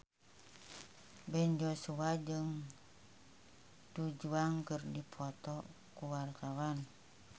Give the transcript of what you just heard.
Ben Joshua jeung Du Juan keur dipoto ku wartawan